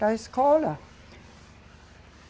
Da escola?